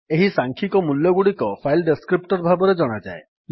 ଏହି ସାଂଖ୍ୟିକ ମୂଲ୍ୟଗୁଡିକ ଫାଇଲ୍ ଡେସ୍କ୍ରିପ୍ଟର୍ ଭାବେ ଜଣାଯାଏ